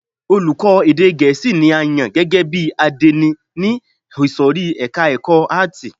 Olùkọ́ni èdè gẹ̀ẹ́sì ni a yàn gẹ́gẹ́ bí àdénì ní ìsòrí ẹka ẹ̀kọ́ àátì.